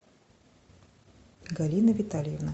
галина витальевна